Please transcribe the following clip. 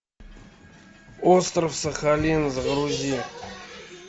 остров сахалин загрузи